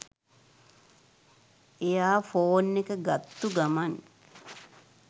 එයා ෆෝන් එක ගත්තු ගමන්